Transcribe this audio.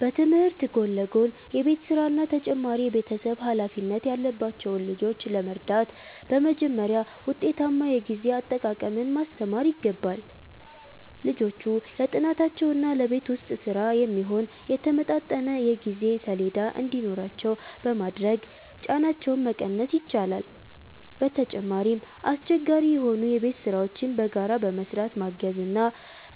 በትምህርት ጎን ለጎን የቤት ሥራና ተጨማሪ የቤተሰብ ኃላፊነት ያለባቸውን ልጆች ለመርዳት በመጀመሪያ ውጤታማ የጊዜ አጠቃቀምን ማስተማር ይገባል። ልጆቹ ለጥናታቸውና ለቤት ውስጥ ሥራ የሚሆን የተመጣጠነ የጊዜ ሰሌዳ እንዲኖራቸው በማድረግ ጫናቸውን መቀነስ ይቻላል። በተጨማሪም፣ አስቸጋሪ የሆኑ የቤት ሥራዎችን በጋራ በመሥራት ማገዝ እና